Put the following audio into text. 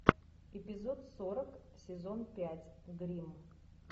эпизод сорок сезон пять гримм